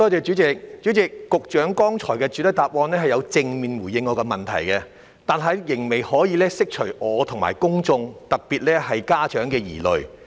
主席，局長剛才有在主體答覆中正面回應我的質詢，只是仍未能釋除我和公眾的疑慮。